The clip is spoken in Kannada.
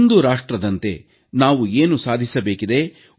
ಒಂದು ರಾಷ್ಟ್ರದಂತೆ ನಾವು ಏನು ಸಾಧಿಸಬೇಕಿದೆ